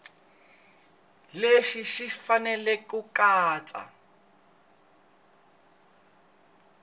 leswi swi fanele ku katsa